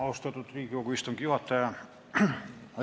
Austatud Riigikogu istungi juhataja!